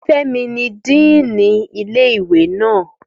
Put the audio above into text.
Fẹ́mi ni díìnì ilé ìwé naa